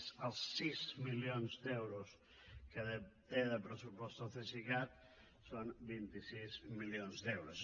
més els sis milions d’euros que té de pressupost el cesicat són vint sis milions d’euros